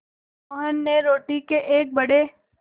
मोहन ने रोटी के एक बड़े